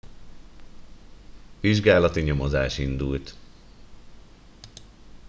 vizsgálati nyomozás indult